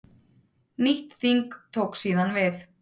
Nýtt þing tók síðan við.